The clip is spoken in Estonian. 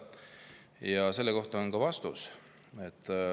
Ja sellele on ka vastus.